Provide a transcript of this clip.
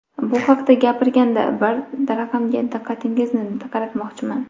Bu haqda gapirganda, bir raqamga diqqatingizni qaratmoqchiman.